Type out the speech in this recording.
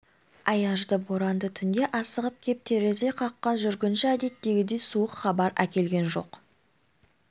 аязды боранды түнде асығып кеп терезе қаққан жүргінші әдеттегідей суық хабар әкелген жоқ